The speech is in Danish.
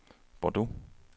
Bordeaux